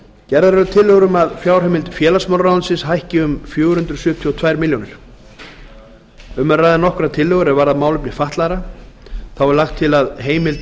gerðar eru tillögur um að fjárheimild félagsmálaráðuneytis hækki um fjögur hundruð sjötíu og tvær milljónir króna um er að ræða nokkrar tillögur er varða málefni fatlaðra þá er lagt til að heimild